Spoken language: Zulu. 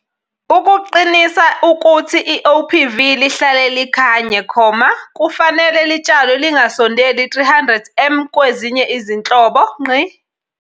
Ukuqinisa ukuthi iOPV lihlale likhanye, kufanele litshalwe lingasondeli 300 m kwezinye izinhlobo.